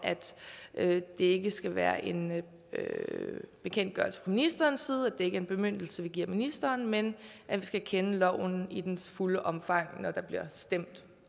at det ikke skal være en bekendtgørelse ministerens side det er ikke en bemyndigelse vi giver ministeren men vi skal kende loven i dens fulde omfang når der bliver stemt